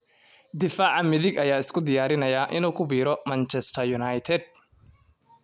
Daafaca midig ayaa isku diyaarinaya inuu ku biiro Manchester United.